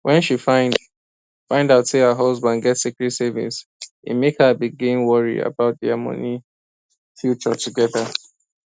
when she find find out say her husband get secret savings e make her begin worry about their money future together